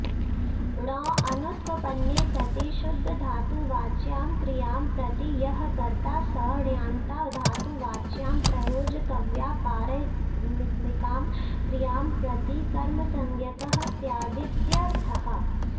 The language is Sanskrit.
णौ अनुत्वपन्ने सति शुद्धधातुवाच्यां क्रियां प्रति यः कर्ता स ण्यन्ताधातुवाच्यां प्रयोजकव्यापारात्मिकां क्रियां प्रति कर्मसंज्ञकः स्यादित्यर्थः